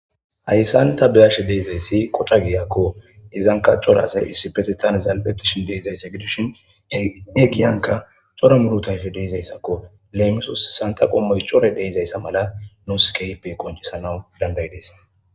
Ayshanththa be7ashe dayzeyssi qoca giya ko;hegankka cora asay issippeththeththan zal7eththishi diizayse gidishin he giyankka cora murutay hedeezaysekko lemisoos:- sanththa qommo coray de7izeessa mala nuus keehippe qonccissana danddayidesi.